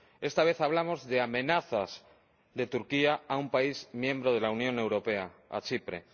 Esta vez hablamos de amenazas de Turquía a un país miembro de la Unión Europea a Chipre.